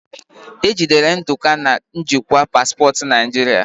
Ejidere ndụka na njikwa paspọtụ naijiria